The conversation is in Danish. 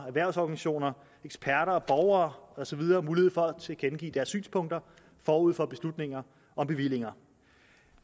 erhvervsorganisationer eksperter borgere og så videre mulighed for at tilkendegive deres synspunkter forud for beslutninger om bevillinger